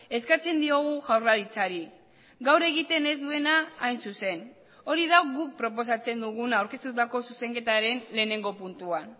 eskatzen diogu jaurlaritzari gaur egiten ez duena hain zuzen hori da guk proposatzen duguna aurkeztutako zuzenketaren lehenengo puntuan